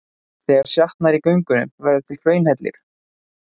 Þegar sjatnar í göngunum verður til hraunhellir.